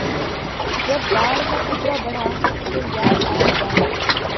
जब बाढ़ का खतरा बढ़ा तो याद आये डैम